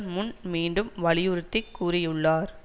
முன் மீண்டும் வலியுறுத்தி கூறியுள்ளார்